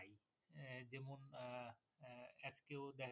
আজকেও দেখা